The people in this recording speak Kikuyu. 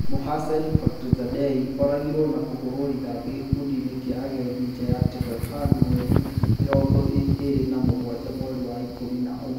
Mohsen Fakhrizadeh oragirwo na kũhũrwo rithathi gĩkundi-inĩ kĩa agendi nja ya Tehran mweri mĩrongo ĩrĩ na mũgwanja mweri wa ikũmi na ũmwe